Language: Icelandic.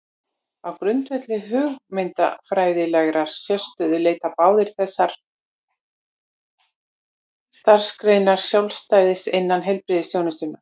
Á grundvelli hugmyndafræðilegrar sérstöðu leita báðar þessar starfsgreinar sjálfstæðis innan heilbrigðisþjónustunnar.